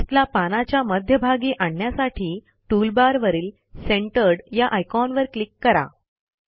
टेक्स्टला पानाच्या मध्यभागी आणण्यासाठी टूलबार वरील सेंटर्ड या आयकॉनवर क्लिक करा